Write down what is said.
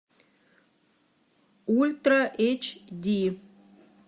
ультра эйч ди